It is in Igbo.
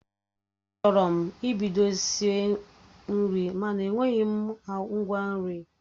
Achọrọ m ibido isi nri mana enweghị m ngwa nri